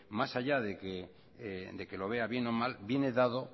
más allá de que lo vea bien o mal viene dado